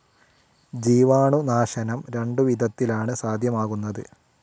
ജീവാണുനാശനം രണ്ടു വിധത്തിലാണ് സാധ്യമാക്കുന്നത്.